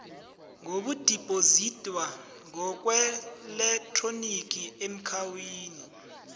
ngokudibhozidwa ngokweelektroniki eakhawuntini